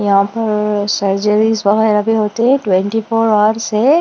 यहां पर सर्जरीज वगैरह भी होती है ट्वेंटी फोर अवर्स है।